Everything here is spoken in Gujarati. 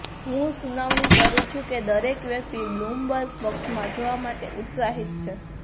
હું સુનાવણી કરું છું કે દરેક વ્યક્તિ બ્લૂમબર્ગ પક્ષમાં જવા માટે ઉત્સાહિત છે